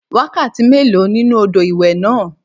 Wákàtí méèló nínú odò ìwẹ̀ náà?